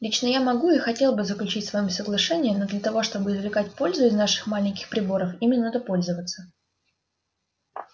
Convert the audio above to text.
лично я могу и хотел бы заключить с вами соглашение но для того чтобы извлекать пользу из наших маленьких приборов ими надо пользоваться